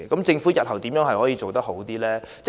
政府日後怎樣可以做得更好？